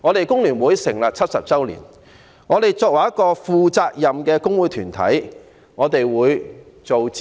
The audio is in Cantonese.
工聯會成立了70年，作為一個負責任的工會團體，我們會進行諮詢。